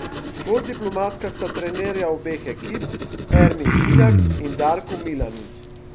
Bolj diplomatska sta trenerja obeh ekip Ermin Šiljak in Darko Milanič.